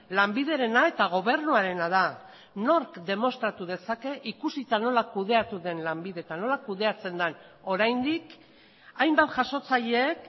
lanbiderena eta gobernuarena da nork demostratu dezake ikusita nola kudeatu den lanbide eta nola kudeatzen den oraindik hainbat jasotzaileek